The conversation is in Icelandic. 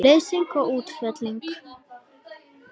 Leysing og útfelling